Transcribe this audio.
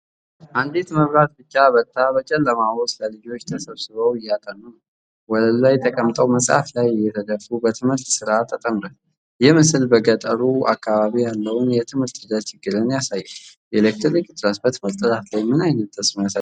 አንዲት መብራት ብቻ በርታ በጨለማ ውስጥ ልጆች ተሰብስበው እያጠኑ ነው። ወለሉ ላይ ተቀምጠው መጽሐፍ ላይ እየተደፉ በትምህርት ሥራ ተጠምደዋል። ይህ ምስል በገጠሩ አካባቢ ያለውን የትምህርት ሂደት ችግርን ያሳያል። የኤሌክትሪክ እጥረት በትምህርት ጥራት ላይ ምን ዓይነት ተጽዕኖ ያሳድራል?